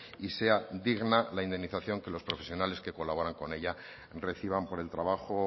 y sea digna la indemnización que los profesionales que colaboran con ella reciban por el trabajo